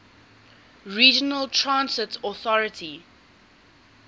regional transit authority